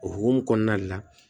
O hukumu kɔnɔna de la